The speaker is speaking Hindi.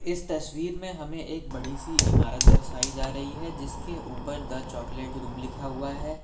इस तस्वीर में हमें एक बड़ी सी इमारत दर्शायी जा रही है जिसके ऊपर द चॉकलेट रूम लिखा हुआ है।